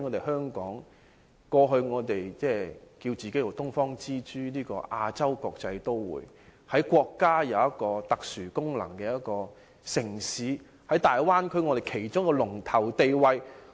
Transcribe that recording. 香港過去自稱是"東方之珠"、亞洲國際都會，是具備國家特殊功能的城市，在大灣區佔一龍頭地位。